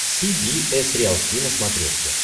си би эс риалти на смотрешке